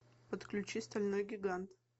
подключи стальной гигант